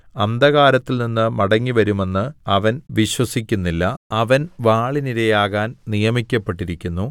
അന്ധകാരത്തിൽനിന്ന് മടങ്ങിവരുമെന്ന് അവൻ വിശ്വസിക്കുന്നില്ല അവൻ വാളിനിരയാകാൻ നിയമിക്കപ്പെട്ടിരിക്കുന്നു